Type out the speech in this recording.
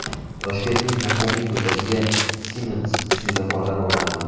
Toshkentning Muqimiy ko‘chasiga Siemens svetoforlari o‘rnatildi.